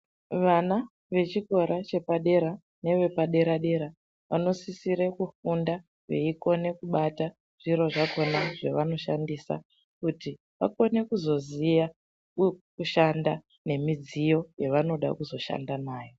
Vana vechikora chepadera neve padera-dera, vanosisira kufunda veikona kubata zviro zvakona zvevanoshandisa. Kuti vakone kuzviziya kushanda nemidziyo yavanoda kuzoshanda nayo.